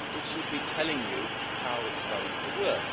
it should be telling you how it's going to work.